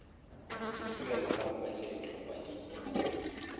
dipoelo kamoka tše bohlokwa di